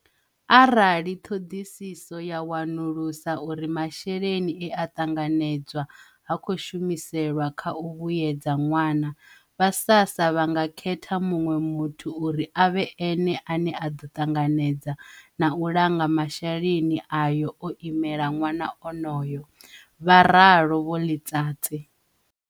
Arali ṱhoḓisiso ya wanulusa uri masheleni e a ṱanganedzwa ha khou shumiselwa kha u vhuedza ṅwana, vha SASSA vha nga khetha muṅwe muthu uri a vhe ene ane a ḓo ṱanganedza na u langa masheleni ayo o imela ṅwana onoyo, vha ra lo vho Letsatsi.